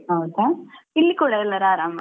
ಹೌದಾ ಇಲ್ಲಿ ಕೂಡ ಎಲ್ಲರೂ ಆರಾಮ.